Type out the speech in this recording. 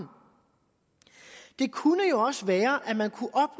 det kunne jo også være at man kunne